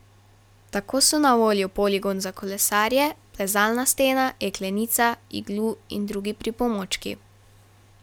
Tako so na voljo poligon za kolesarje, plezalna stena, jeklenica, iglu in drugi pripomočki ...